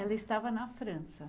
Ela estava na França.